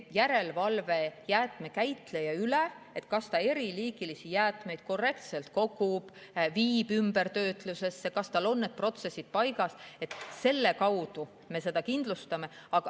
Järelevalvega jäätmekäitleja üle, kas ta kogub eri liiki jäätmeid korrektselt, viib ümbertöötlusesse, kas tal on need protsessid paigas, me seda kindlustame.